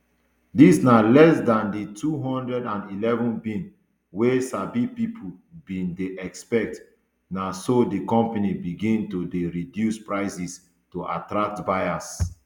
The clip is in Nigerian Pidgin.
dis na less dan di two hundred and eleven bn wey sabi pipo bin dey expect na so di company begin to dey reduce prices to attract buyers